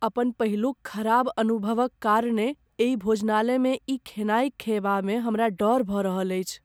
अपन पहिलुक खराब अनुभवक कारणे एहि भोजनालयमे ई खेनाइ खयबामे हमरा डर भऽ रहल अछि।